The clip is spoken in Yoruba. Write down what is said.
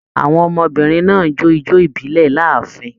Àwọn ọmọbìnrin náà jó ijó ibilẹ l'áàfin.